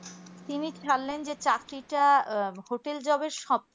তিনি ছাড়লেন যে চাকরিটা hotel job এর সব